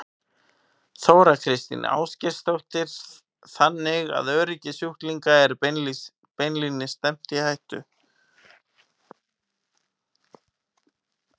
Þóra Kristín Ásgeirsdóttir: Þannig að öryggi sjúklinga er beinlínis stefnt í hættu?